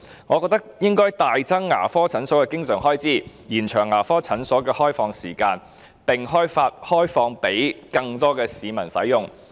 我認為應該大幅增加牙科診所的經常開支，延長牙科診所的開放時間，並開放予更多市民使用。